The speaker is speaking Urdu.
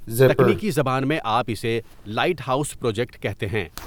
تکنیکی زبان میں آپ اسے لائٹ ہاؤس پروجیکٹ کہتے ہیں ۔